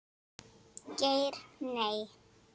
Geir Nei.